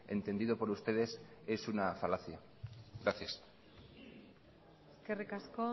entendido por ustedes es una falacia gracias eskerrik asko